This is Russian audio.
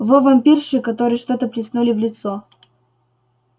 вой вампирши которой что-то плеснули в лицо